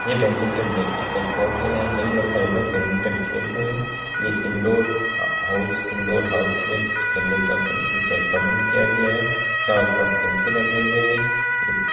ये badminton racket का court है यहाँ कई लोग सारे लोग बेटमिंटन खेल रहे हैं| ये इंडोर हाउस इंडोर हाउस में खेलने का प्रबंध किया गया है चारो तरफ पंखे लगे हुए हैं।